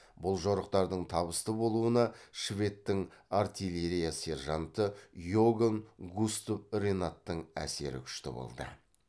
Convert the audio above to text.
бұл жорықтардың табысты болуына шведтің артиилерия сержанты иоганн густав ренаттың әсері күшті болды